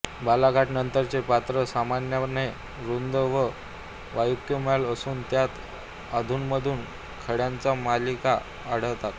बालाघाटनंतरचे पात्र सामान्यपणे रुंद व वालुकामय असून त्यात अधूनमधून खडकांच्या मालिका आढळतात